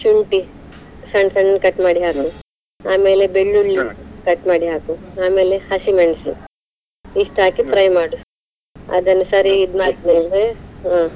ಮತ್ತೆ ಎಷ್ಟು ಶುಂಠಿ ಸಣ್ಣ ಸಣ್ಣ cut ಮಾಡಿ ಆಮೇಲೆ ಬೆಳ್ಳುಳ್ಳಿ cut ಮಾಡಿ ಹಾಕು, ಆಮೇಲೆ ಹಸಿಮೆಣಸು ಇಷ್ಟ್ ಹಾಕಿ fry ಅದನ್ನು ಸರಿ ಆದ್ಮೇಲೆ ಹ.